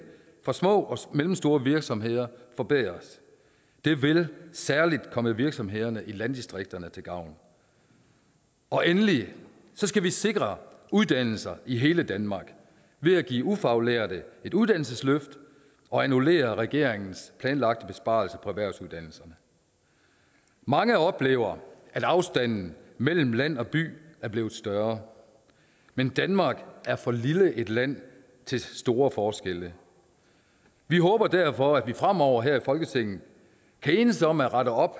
for små og mellemstore virksomheder forbedres det vil særlig komme virksomhederne i landdistrikterne til gavn og endelig skal vi sikre uddannelser i hele danmark ved give ufaglærte et uddannelsesløft og annullere regeringens planlagte besparelser på erhvervsuddannelserne mange oplever at afstanden mellem land og by er blevet større men danmark er for lille et land til store forskelle vi håber derfor at vi fremover her i folketinget kan enes om at rette op